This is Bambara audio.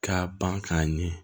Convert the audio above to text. Ka ban k'a ɲɛ